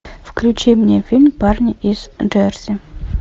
включи мне фильм парни из джерси